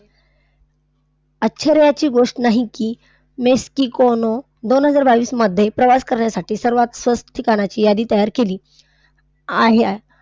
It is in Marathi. आश्चर्याची गोष्ट नाही की मेक्सिकोनं दोन हजार बावीसमध्ये प्रवास करण्यासाठी सर्वात स्वस्त ठिकाणाची यादी तयार केली आहे.